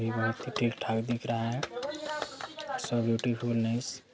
ये पहाड़ भी ठीक ठाक दिख रहा है शो ब्यूटीफुल नाइस ।